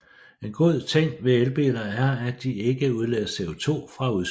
En god ting ved elbiler er at de ikke udleder CO2 fra udstødningen